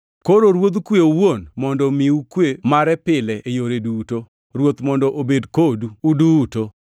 Koro Ruodh kwe owuon mondo omiu kwe mare pile e yore duto. Ruoth mondo obed kodu uduto.